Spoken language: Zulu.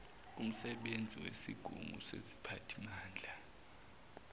kumsebenzi wesigungu seziphathimanda